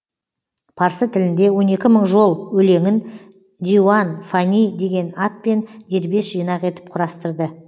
парсы тілінде он екі мың жол өлеңін диуан фани деген атпен дербес жинақ етіп құрастырды